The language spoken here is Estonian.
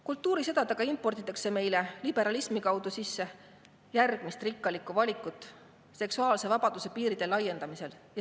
Kultuurisõdadega imporditakse meile liberalismi kaudu järgmist rikkalikku valikut seksuaalse vabaduse piiride laiendamisel.